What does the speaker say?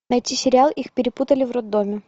найти сериал их перепутали в роддоме